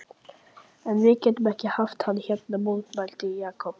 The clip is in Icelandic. En við getum ekki haft hann hérna mótmælti Jakob.